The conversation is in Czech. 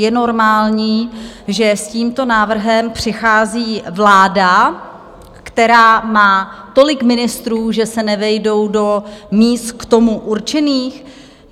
Je normální, že s tímto návrhem přichází vláda, která má tolik ministrů, že se nevejdou do míst k tomu určených?